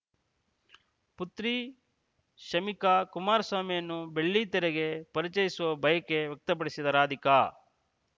ಪುತ್ರಿ ಶಮಿಕಾ ಕುಮಾರಸ್ವಾಮಿಯನ್ನು ಬೆಳ್ಳಿತೆರೆಗೆ ಪರಿಚಯಿಸುವ ಬಯಕೆ ವ್ಯಕ್ತಪಡಿಸಿದ ರಾಧಿಕಾ